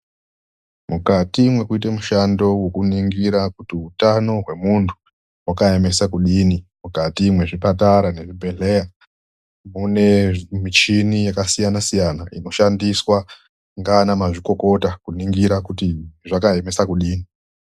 Mukati mwekuite mushando wekuningira kuti utano hwemuntu mwakaemesa kudini, mukati mwezvipatara nezvibhehleya mune michini yakasiyana siyana inoshandiswa nganamazvikokota kuningisa kuti zvakaemesa kudini .